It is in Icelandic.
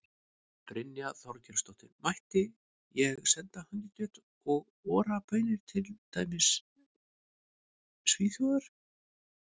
Brynja Þorgeirsdóttir: Mætti ég senda hangikjöt og Ora baunir til, til dæmis Svíþjóðar?